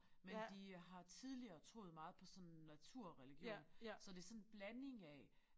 Men de har tidligere troet meget på sådan naturreligion så det sådan en blanding af